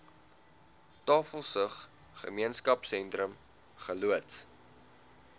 tafelsig gemeenskapsentrum geloods